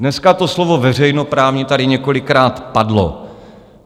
Dneska to slovo "veřejnoprávní" tady několikrát padlo.